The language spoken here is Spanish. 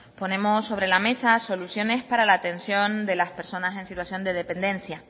ponemos sobre la mesa soluciones para la atención de las personas en situación de dependencia